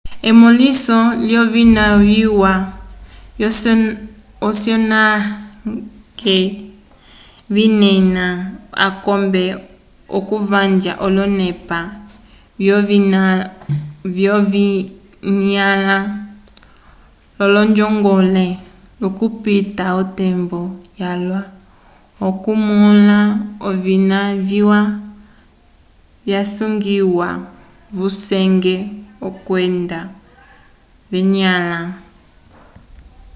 emõliso lyovina viwa vyusenage vinena akombe okuvanja olonepa vyo vyenyala l'onjongole lyoukupita otembo yalwa okumõla ovina viwa visangiwa vusenge kwenda venyala